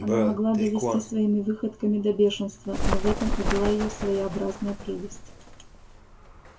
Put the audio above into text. она могла довести своими выходками до бешенства но в этом и была её своеобразная прелесть